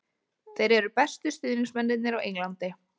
Þeir eru bestu stuðningsmennirnir á Englandi.